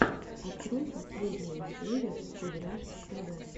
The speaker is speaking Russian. открой последнюю серию кудряшки тв